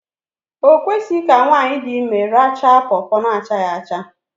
O kwesịghị ka nwaanyị di ime arachaa pọpọ na achaghị acha